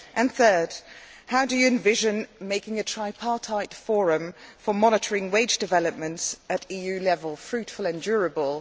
Thirdly, how do you envision making a tripartite forum for monitoring wage developments at EU level fruitful and durable?